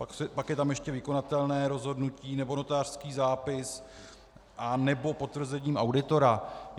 Pak je tam ještě vykonatelné rozhodnutí nebo notářský zápis anebo potvrzením auditora.